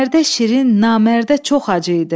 Mərdə şirin, namərdə çox acı idi.